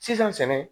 Sisan sɛnɛ